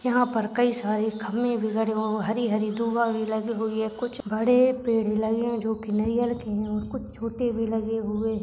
याहा पर कई सारे खंबे भी लगे हुए हरी हरी लगी हुई है कुछ बड़े पेड़ लगे जो की नारियल के है और कुछ छोटे भी लगे हुए है।